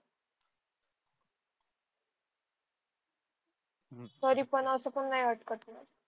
तरी पण अस पण अटक नाही ना